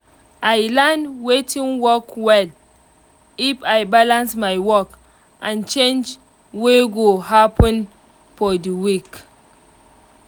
i learn watin work well if i balance my work and change wey go happen for the week